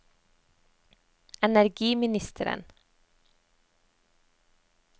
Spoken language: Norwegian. energiministeren